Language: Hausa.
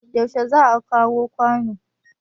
yaushe za a kawo kwanon